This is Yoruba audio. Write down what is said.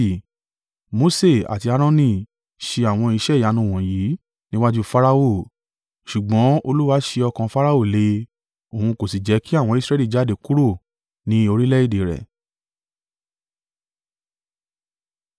Mose àti Aaroni ṣe àwọn iṣẹ́ ìyanu wọ̀nyí níwájú Farao, ṣùgbọ́n Olúwa sé ọkàn Farao le, òun kò sí jẹ́ kí àwọn Israẹli jáde kúrò ni orílẹ̀-èdè rẹ̀.